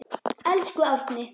Elsku Árni.